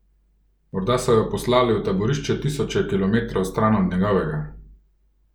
Morda so jo poslali v taborišče tisoče kilometrov stran od njegovega!